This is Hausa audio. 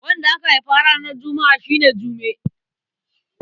Wanda aka haifa ranar Juma'a shi ne Jume.